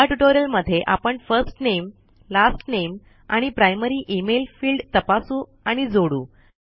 या ट्यूटोरियल मध्ये आपण फर्स्ट नामे लास्ट नामे आणि प्रायमरी इमेल फील्ड तपासू आणि जोडू